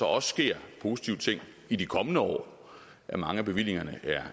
også sker positive ting i de kommende år mange af bevillingerne